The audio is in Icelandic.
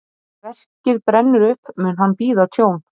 Ef verkið brennur upp, mun hann bíða tjón.